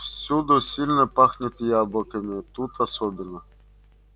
всюду сильно пахнет яблоками тут особенно